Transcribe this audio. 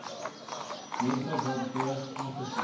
menslike waardigheid aangesien